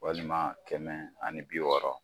Walima kɛmɛ ani bi wɔɔrɔ.